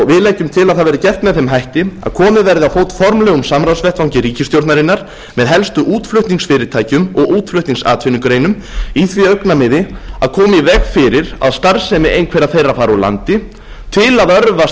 við leggjum til að það verði gert með þeim hætti að komið verði á fót formlegum samráðsvettvangi ríkisstjórnarinnar með helstu útflutningsfyrirtækjum og útflutningsatvinnugreinum í því augnamiði að koma í veg fyrir að starfsemi einhverra þeirra fari úr landi til að örva